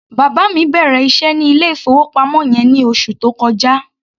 Bàbá mi bẹ̀rẹ̀ iṣẹ́ ní ilé-ìfowópamọ́ yẹn ní oṣù tó kọjá.